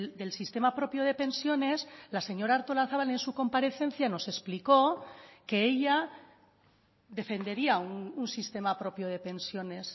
del sistema propio de pensiones la señora artolazabal en su comparecencia nos explicó que ella defendería un sistema propio de pensiones